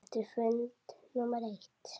Eftir fund númer eitt.